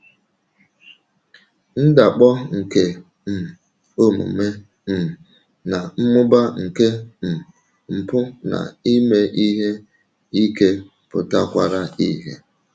Ndakpọ nke um omume um na mmụba nke um mpụ na ime ihe ike pụtakwara ìhè.